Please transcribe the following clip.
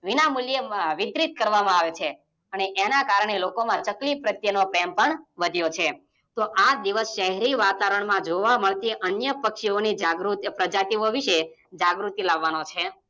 વિના મુલ્યે વિતરિત કરવામાં આવે છે અને એના કારણે લોકોમાં ચકલી પ્રત્યેનો પ્રેમ પણ વધ્યો છે. તો આ દિવસ સેહરી વાતાવરણમાં જોવા મળતી અન્ય પક્ષીઓની પ્રજતિઓ વિશે જાગૃતિ લેવાનો છે.